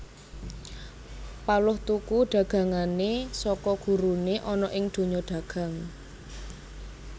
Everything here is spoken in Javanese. Paloh tuku dagangané saka guruné ana ing donya dagang